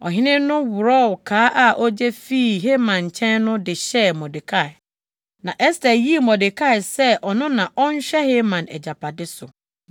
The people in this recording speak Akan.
Ɔhene no worɔw kaa a ogye fii Haman nkyɛn no de hyɛɛ Mordekai. Na Ɛster yii Mordekai sɛ ɔno na ɔnhwɛ Haman agyapade so.